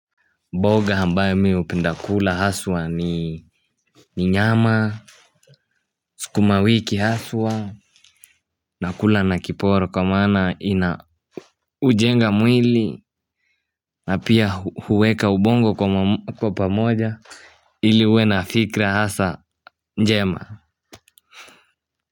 Mboga ambayo mimi hupenda kula haswa ni nyama. Sukumawiki haswa. Nakula na kiporo kwa maana ina hujenga mwili. Na pia huweka ubongo kwa pamoja. Ili uwe na fikra hasa njema.